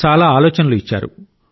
చాలా ఆలోచనలు ఇచ్చారు